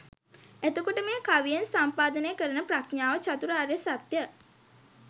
එතකොට මේ කවියෙන් සම්පාදනය කරන ප්‍රඥාව චාතුරාර්ය සත්‍ය